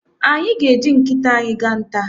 Anyị ga- eji nkịta anyị gaa nta.